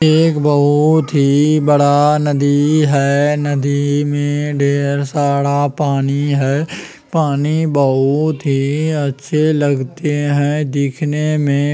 एक बहुत ही बड़ा नदी है नदी में ढेर सारा पानी है पानी बहुत ही अच्छे लगते है दिखने में